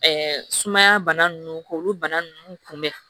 sumaya bana ninnu k'olu bana ninnu kunbɛn